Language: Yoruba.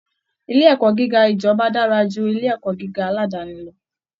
Ilé ẹ̀kọ́ gíga ìjọba dára ju ilé ẹ̀kọ́ gíga aládàáni lọ